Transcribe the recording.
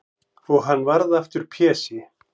Og hann varð aftur Pési.